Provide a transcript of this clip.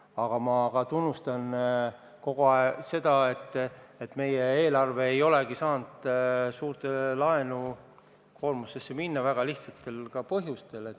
Samas ma ka tunnistan kogu aeg, et meie eelarve ei olegi saanud suurt laenukoormust eelistada väga lihtsatel põhjustel.